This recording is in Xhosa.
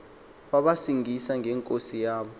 wabacingisa ngenkosi yabo